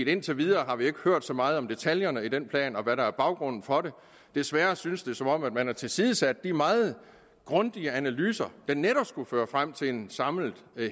indtil videre har vi ikke hørt så meget om detaljerne i den plan og hvad der er baggrunden for den desværre synes det som om man har tilsidesat de meget grundige analyser der netop skulle føre frem til en samlet